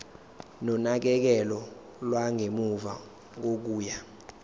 nonakekelo lwangemuva kokuya